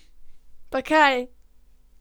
Pa kaj!